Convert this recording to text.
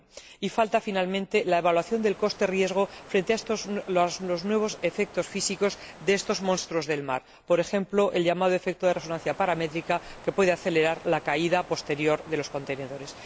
Y falta finalmente la evaluación del coste riesgo frente a los nuevos efectos físicos de estos monstruos del mar, por ejemplo, el llamado efecto de resonancia paramétrica que puede acelerar la caída posterior de los contenedores.